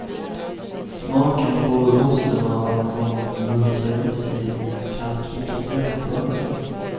Smaken får osten av att som mumsar i sig det kalkrika gräset på ön.